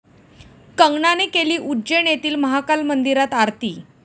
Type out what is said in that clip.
कंगनाने केली उज्जैन येथील महाकाल मंदिरात आरती